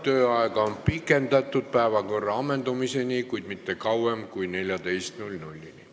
Tööaega on pikendatud päevakorra ammendumiseni, kuid mitte kauem kui kella 14-ni.